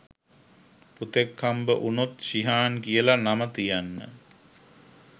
පුතෙක් හම්බ වුණොත් ශිහාන් කියලා නම තියන්න.